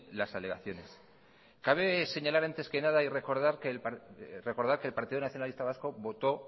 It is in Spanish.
las alegaciones cabe señalar antes que nada y recordar que el partido nacionalista vasco votó